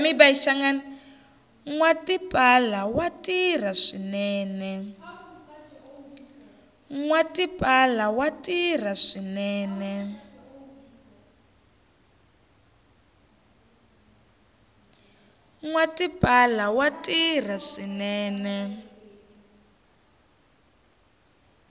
nwa tipala wa tirha swinene